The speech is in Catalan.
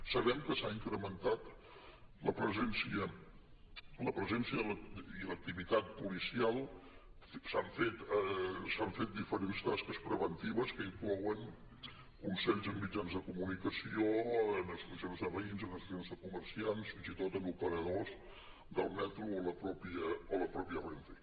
sabem que s’ha incrementat la presència i l’activitat policial s’han fet diferents tasques preventives que inclouen consells en mitjans de comunicació en associacions de veïns en associacions de comerciants fins i tot en operadors del metro o la mateixa renfe